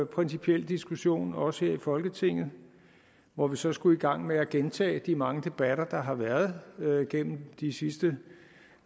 principiel diskussion også her i folketinget hvor vi så skulle i gang med at gentage de mange debatter der har været været gennem de sidste